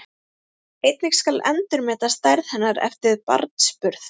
Einnig skal endurmeta stærð hennar eftir barnsburð.